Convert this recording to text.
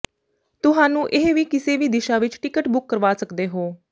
ਤੁਹਾਨੂੰ ਇਹ ਵੀ ਕਿਸੇ ਵੀ ਦਿਸ਼ਾ ਵਿੱਚ ਟਿਕਟ ਬੁੱਕ ਕਰਵਾ ਸਕਦੇ ਹੋ